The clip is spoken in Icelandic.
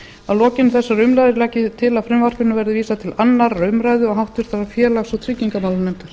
að lokinni þessari umræðu legg ég til að frumvarpinu verði vísað til annarrar umræðu og háttvirtur félags og tryggingamálanefndar